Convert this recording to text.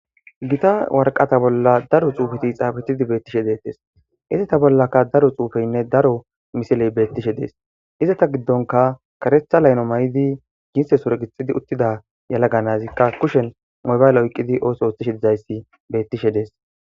Gita woraqqata bolla daro tsufeetikka tsafettidi bettees. Ize bollakka daro tsufeetikka daro misilee bettees. Iza ta giddonkka karetha layno maydi uttida yelaga natikka kushenko mobayle oyqqidi ooseetishe bettees.